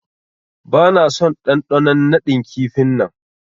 Bana son dandanon nadin kifi'n nan.